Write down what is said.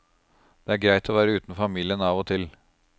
Det er greit å være uten familien av og til.